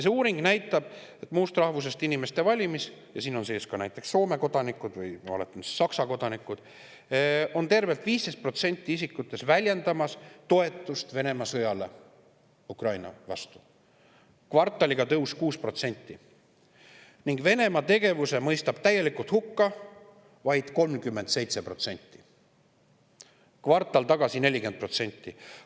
See uuring näitab, et valimis olevatest muust rahvusest inimestest – nende hulgas on ka näiteks Soome kodanikud või Saksa kodanikud – on tervelt 15% väljendamas toetust Venemaa sõjale Ukraina vastu, kvartaliga on see tõusnud 6%, ning Venemaa tegevuse mõistab täielikult hukka vaid 37%, kvartal tagasi oli neid 40%.